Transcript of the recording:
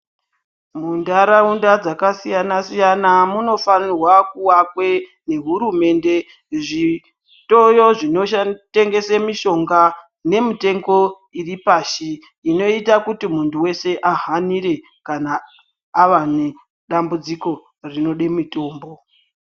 Muntharaunda dzakasiyana siyana munofanirwa kuakwe nehurumunde zvitoro zvinotengese mishonga nemitengo iri pashi inoita kuti munthu weshe ahanire kana ava nedambudziko rinode mitombo.